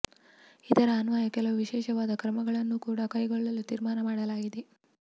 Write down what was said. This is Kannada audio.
ಇದರ ಅನ್ವಯ ಕೆಲವು ವಿಶೇಷವಾದ ಕ್ರಮಗಳನ್ನು ಕೂಡಾ ಕೈಗೊಳ್ಳಲು ತೀರ್ಮಾನ ಮಾಡಲಾಗಿದೆ